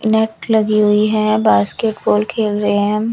Net लगी हुई है बास्केटबॉल खेल रहे हैं।